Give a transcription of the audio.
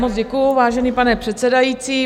Moc děkuji, vážený pane předsedající.